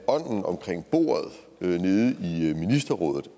omkring bordet nede i ministerrådet